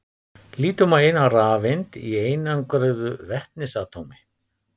Lítum á eina rafeind í einangruðu vetnisatómi.